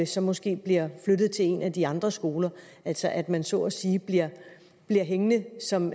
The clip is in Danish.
så måske bliver flyttet til en af de andre skoler altså at man så at sige bliver hængende som